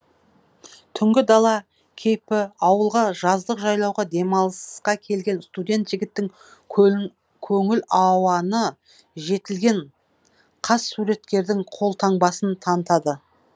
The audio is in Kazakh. түнгі дала кейпі ауылға жаздық жайлауға демалыса келген студент жігіттің көңіл ауаны жетілген қас суреткердің қолтаңбасын танытады